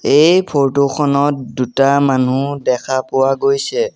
এই ফৰটো খনত দুটা মানুহ দেখা পোৱা গৈছে।